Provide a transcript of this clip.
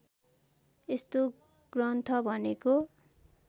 यस्तो ग्रन्थ भनेको